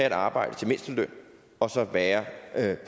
et arbejde til mindsteløn og så være